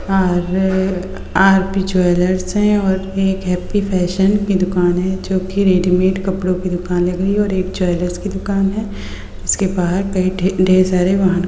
और R P. Jewellers हैं और एक हैप्पी फैशन की दुकान है जो की रेडीमेड कपड़ो की दुकान लग रही है और एक ज्वेलर्स की दुकान है इस के बाद ढ़ेर सारे वाहनों --